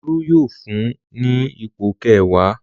Olú yóò fún ní ipò kẹwàá.